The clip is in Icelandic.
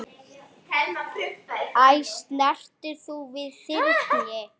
Æ, snertir þú við þyrni?